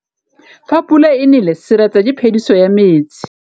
Fa pula e nelê serêtsê ke phêdisô ya metsi.